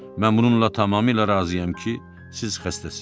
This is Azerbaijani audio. Mən bununla tamamilə razıyam ki, siz xəstəsiz.